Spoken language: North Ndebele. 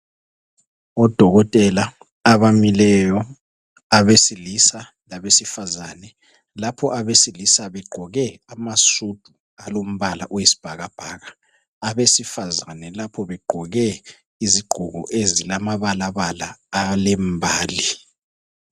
odokotela abamileyo abesilisa labesifazane lapho begqoke amasudu olombala owesibhakabhaka abesifazana lapho begqoke izigqoko ezilamabalaba alembali